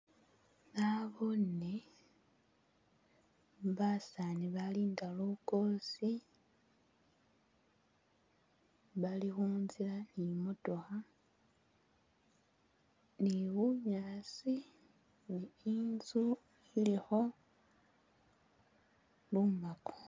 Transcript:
Nabone basani balinda lukosi bali khuntsila ni motokha ni'bunyaasi ni'intsu ilikho lumako